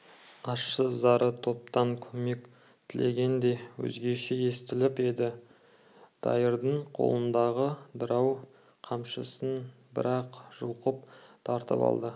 ащы зары топтан көмек тілегендей өзгеше естіліп еді дайырдың қолындағы дырау қамшысын бір-ақ жұлқып тартып алды